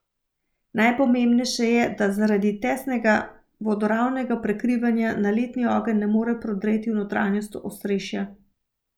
Najpomembnejše je, da zaradi tesnega vodoravnega prekrivanja naletni ogenj ne more prodreti v notranjost ostrešja.